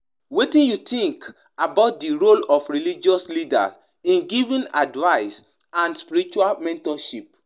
Religious leaders get important role to play in providing ethical grounding and public moral guidance.